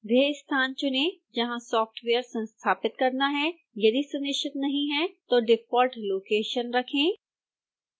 वह स्थान चुनें जहां सॉफ्टवेयर संस्थापित करना है यदि सुनिश्चित नहीं हैं तो डिफॉल्ट लोकेशन रखें